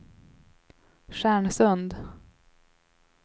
Stjärnsund